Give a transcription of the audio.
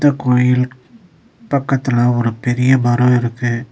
கோயில்க்கு பக்கத்துல ஒரு பெரிய மரோ இருக்கு.